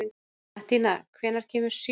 Mattína, hvenær kemur sjöan?